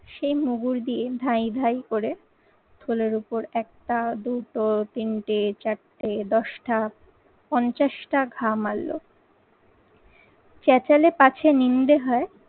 সেই মুগুর দিয়ে ধাঁই ধাঁই করে থলের উপর একটা, দুটো, তিনটে, চারটে, দশটা, পঞ্চাশটা ঘা মারলো। চেঁচালে পাছে নিন্দে হয়